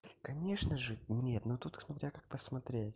и конечно же нет но тут смотря как посмотреть